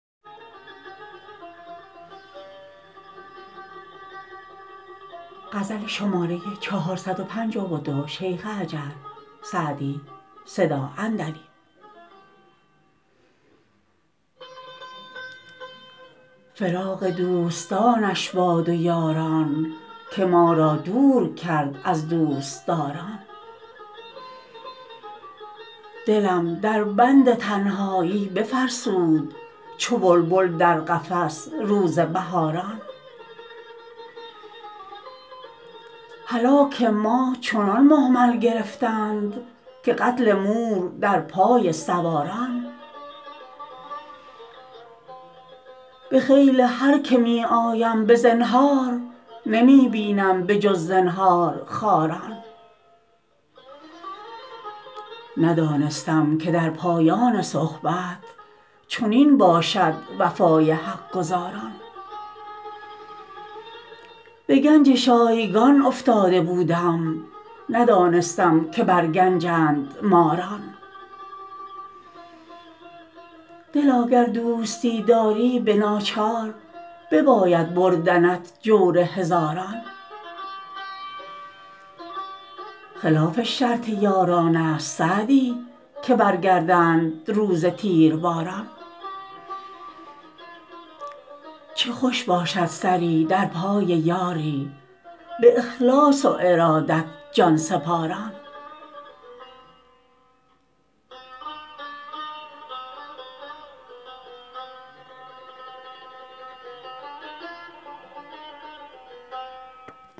فراق دوستانش باد و یاران که ما را دور کرد از دوستداران دلم در بند تنهایی بفرسود چو بلبل در قفس روز بهاران هلاک ما چنان مهمل گرفتند که قتل مور در پای سواران به خیل هر که می آیم به زنهار نمی بینم به جز زنهارخواران ندانستم که در پایان صحبت چنین باشد وفای حق گزاران به گنج شایگان افتاده بودم ندانستم که بر گنجند ماران دلا گر دوستی داری به ناچار بباید بردنت جور هزاران خلاف شرط یاران است سعدی که برگردند روز تیرباران چه خوش باشد سری در پای یاری به اخلاص و ارادت جان سپاران